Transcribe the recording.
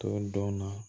To donna